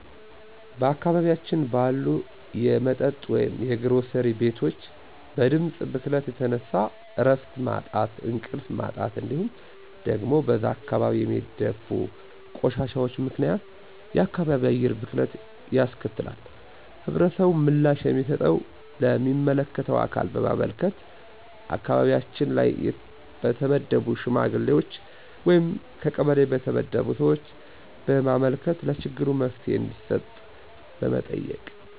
በአካባቢያችን ባሉ የመጠጥ ወይም የግሮሰሪ ቤቶች በድምጽ ብክለት የተነሳ እረፍት ማጣት እንቅልፍ ማጣት እንዲሁም ደግሞ በዛ አካባቢ በሚደፉ ቆሻሻዎች ምክንያት የአካባቢ አየር ብክለት ያስከትላል። ህብረተሰቡ ምላሽ የሚሰጠው ለሚመለከተው አካል በማመልከት አካባቢያችን ላይ በተመደቡ ሽማግሌዎች ወይም ከቀበሌ በተመደቡ ሰዎች በማመልከት ለችግሩ መፍትሄ እንዲሰጥ በመጠየቅ